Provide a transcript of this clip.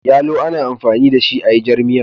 Yalo ana amfani da shi ayi jarmiya